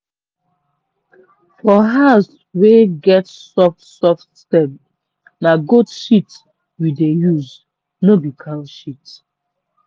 for herbs wey get soft soft stem na goat shit we dey use no be cow shit.